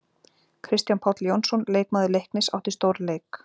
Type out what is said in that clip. Kristján Páll Jónsson, leikmaður Leiknis átti stórleik.